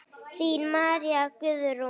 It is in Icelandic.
Þín María Guðrún.